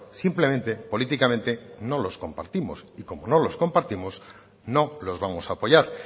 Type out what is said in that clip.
simplemente políticamente no los compartimos y como no los compartimos no los vamos a apoyar